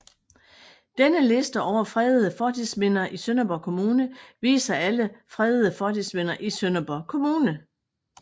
Denne liste over fredede fortidsminder i Sønderborg Kommune viser alle fredede fortidsminder i Sønderborg Kommune